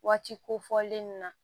Waati kofɔlen in na